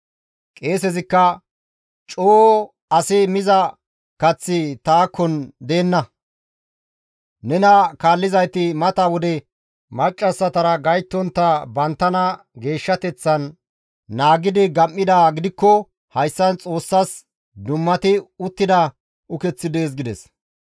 Qeesezikka, «Coo asi miza kaththi takon deenna; nena kaallizayti mata wode maccassatara gayttontta banttana geeshshateththan naagidi gam7idaa gidikko hayssan Xoossas dummati uttida ukeththi dees» gides.